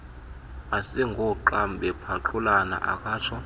asingooxam bephaxulana akatsho